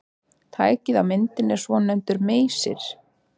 Tækið á myndinni er svonefndur meysir.